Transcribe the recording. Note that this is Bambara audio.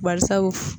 Bari sabu